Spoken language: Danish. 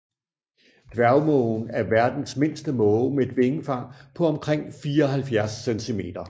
Dværgmågen er verdens mindste måge med et vingefang på omkring 74 centimeter